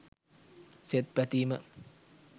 සෙත් පැතීම